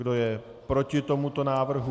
Kdo je proti tomuto návrhu?